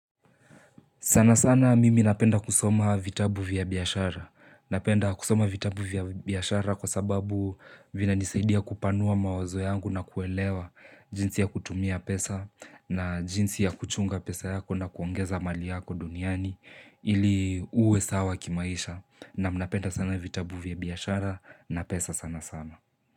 Sana sana mimi napenda kusoma vitabu vya biashara. Napenda kusoma vitabu vya biashara kwa sababu vinanisaidia kupanua mawazo yangu na kuelewa jinsi ya kutumia pesa na jinsi ya kuchunga pesa yako na kuongeza mali yako duniani ili uwe sawa kimaisha. Na mnapenda sana vitabu vya biyashara na pesa sana sana.